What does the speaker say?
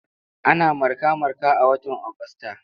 Ana marka-marka a watan Agusta.